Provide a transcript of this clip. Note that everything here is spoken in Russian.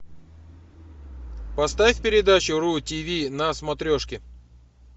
поставь передачу ру тв на смотрешке